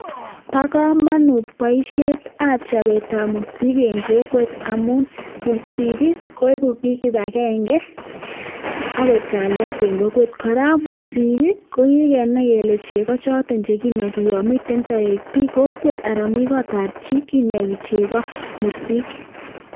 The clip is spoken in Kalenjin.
Bo komonut boisietab chobetab mursik en kokwet amun mursik ii, koibu biik kibagenge ak koib kalyet en kokwet. Kora mursik ii kogikenai kele chego choto chekinogi yon miten toek kokwet anan mi kotab chii kinogi chego mursik.